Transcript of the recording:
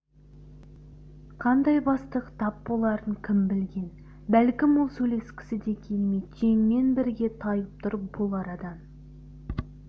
қандай бастық тап боларын кім білген бәлкім ол сөйлескісі де келмей түйеңмен бірге тайып тұр бұл арадан